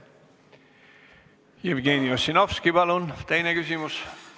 Jevgeni Ossinovski, palun teine küsimus!